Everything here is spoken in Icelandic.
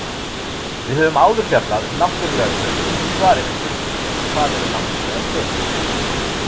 Við höfum áður fjallað um náttúrlegar tölur í svari við spurningunni Hvað eru náttúrlegar tölur?.